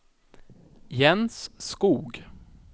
Jens Skoog